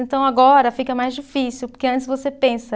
Então agora fica mais difícil, porque antes você pensa.